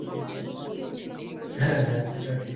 হ্যাঁ হ্যাঁ সেটা ঠিক।